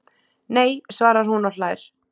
Nei! svarar hún og hlær.